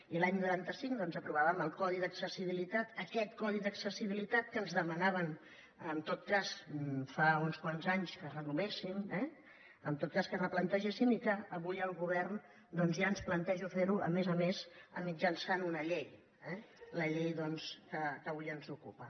i l’any noranta cinc doncs aprovàvem el codi d’accessibilitat aquest codi d’accessibilitat que ens demanaven en tot cas fa uns quants anys que renovéssim eh o en tot cas que replantegéssim i que avui el govern ja ens planteja fer ho a més a més mitjançant una llei la llei que avui ens ocupa